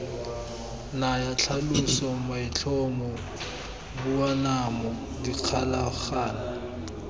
naya tlhaloso maitlhomo boanamo dikgolagano